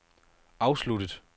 afsluttet